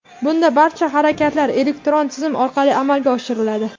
Bunda barcha harakatlar elektron tizim orqali amalga oshiriladi.